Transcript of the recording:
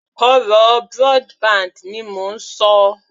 Ọ̀rọ̀ broadband ni mò ń ṣọ